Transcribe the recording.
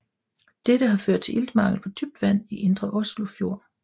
Dette har ført til iltmangel på dybt vand i Indre Oslofjord